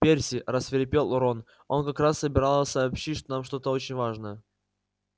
перси рассвирепел рон она как раз собиралась сообщить нам что-то очень важное